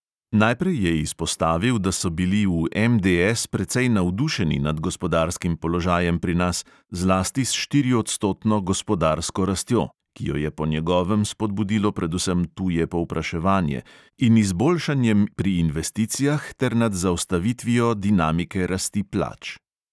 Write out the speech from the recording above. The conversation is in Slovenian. Najprej je izpostavil, da so bili v MDS precej navdušeni nad gospodarskim položajem pri nas, zlasti s štiriodstotno gospodarsko rastjo (ki jo je po njegovem spodbudilo predvsem tuje povpraševanje) in izboljšanjem pri investicijah, ter nad zaustavitvijo dinamike rasti plač.